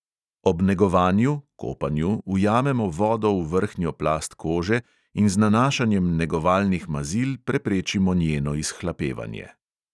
Ob negovanju ujamemo vodo v vrhnjo plast kože in z nanašanjem negovalnih mazil preprečimo njeno izhlapevanje.